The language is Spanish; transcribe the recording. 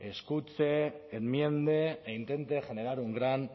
escuche enmiende e intente generar un gran